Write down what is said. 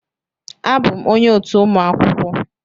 Abụm onye otu ụmụ akwụkwọ